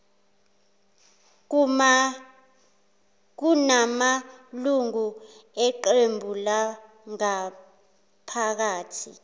kunamalungu eqebu langaphakathi